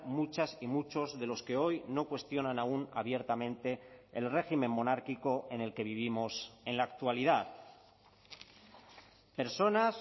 muchas y muchos de los que hoy no cuestionan aún abiertamente el régimen monárquico en el que vivimos en la actualidad personas